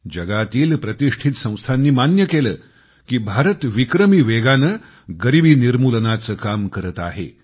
जगातील प्रतिष्ठित संस्थांनी मान्य केलं की भारत विक्रमी वेगाने गरिबी निर्मूलनाचे काम करत आहे